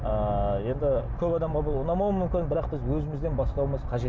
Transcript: ыыы енді көп адамға бұл ұнамауы мүмкін бірақ біз өзімізден бастауымыз қажет